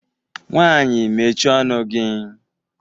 Nwaanyị mechie ọnụ gị!